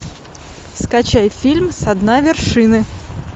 скачай фильм со дна вершины